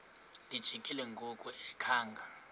lijikile ngoku engakhanga